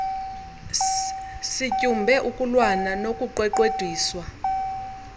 sityumbe ukulwana nokuqweqwediswa